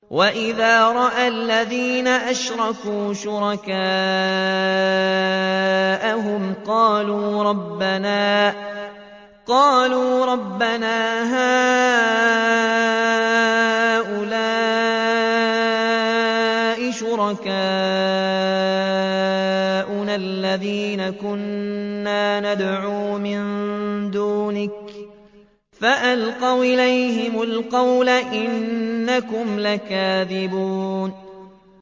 وَإِذَا رَأَى الَّذِينَ أَشْرَكُوا شُرَكَاءَهُمْ قَالُوا رَبَّنَا هَٰؤُلَاءِ شُرَكَاؤُنَا الَّذِينَ كُنَّا نَدْعُو مِن دُونِكَ ۖ فَأَلْقَوْا إِلَيْهِمُ الْقَوْلَ إِنَّكُمْ لَكَاذِبُونَ